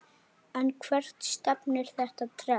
En hvert stefnir þetta trend?